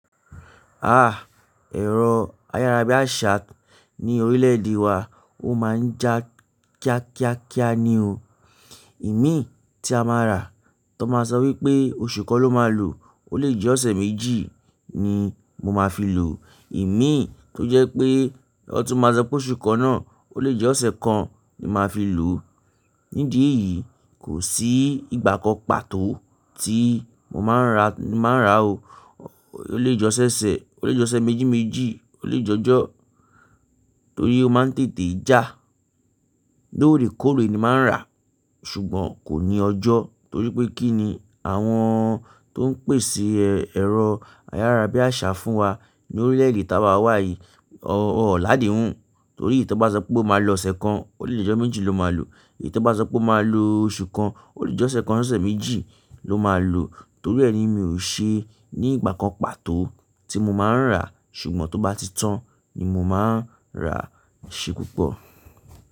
Ah! Ẹ̀rọ ayárabíàṣá ní orílẹ̀-èdè wa ó máa ń já kíá kíá kíá ni o. Ìmí tí a máa rà tí wọn máa sọ wípé oṣù kan ló máa lò, ó lè jẹ́ ọ̀sẹ̀ méjì ni mo máa fi lò. Ìmí tó jẹ́ pé wọn tún máa sọ pé oṣù kan náà ó lè jẹ́ ọ̀sẹ̀ kan ni màá fi lò. Nídi èyìí kò sí ìgbà kan pàtó tí mo máa ń rà ni máa ń rà o. Ó lè jẹ́ ọ̀sẹ̀ ó lè jẹ́ ọ̀sẹ̀ mẹ́jì méjì ó lè jẹ́ ọjọ́ torí ó máa ń tètè já. Loóre kóore ni màá rà ṣùgbọ́n kò ní ọjọ́ torí pé kí ni àwọn tó ń pèsè ẹ̀rọ ayárabíàṣá fún wa ní orílẹ̀-èdè tí a wà wáyí wọn ó ládé hun. Torí ìyí tí ó bá sọ pé ó máa lò ọ̀sẹ̀ kan ó lè jẹ́ ọ̀sẹ̀ méjì ló máa lò èyí tán bá sọ pé ó máa lò oṣù kan ó lè jẹ́ ọ̀sẹ̀ kan sí ọ̀sẹ̀ méjì ló máa lò. Torí ẹ ni mi ò ṣe ní ìgbà kan pàtó tí mo máa ń rà ṣùgbọ́n tó bá ti tán ni mò máa ń rà eṣe púpọ̀.